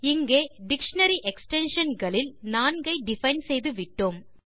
இங்கே dictionary extension களில் நான்கை டிஃபைன் செய்துவிட்டோம்